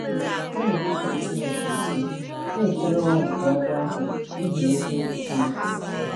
Ha na-enupụrụ Chineke isi, na-ekwere ụgha nke agwọ ahụ n’ihi eziokwu Chineke.